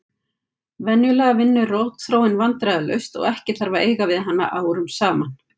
Venjulega vinnur rotþróin vandræðalaust og ekki þarf að eiga við hana árum saman.